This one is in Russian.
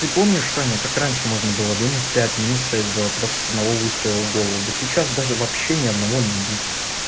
ты помнишь саня как раньше можно было минус пять минус шесть сделать просто с одного выстрела в голову да сейчас даже вообще ни одного убить